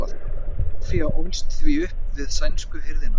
soffía ólst því upp við sænsku hirðina